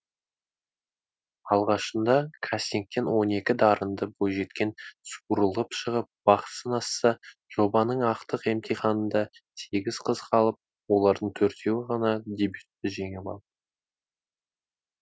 алғашында кастингтен он екі дарынды бойжеткен суырылып шығып бақ сынасса жобаның ақтық емтиханында сегіз қыз қалып олардың төртеуі ғана дебютті жеңіп алды